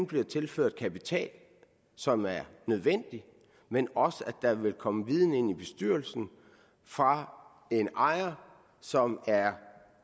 bliver tilført kapital som er nødvendig men også fordi der vil komme viden ind i bestyrelsen fra en ejer som er